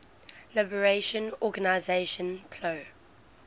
liberation organization plo